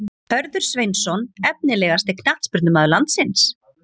Hörður Sveinsson Efnilegasti knattspyrnumaður landsins?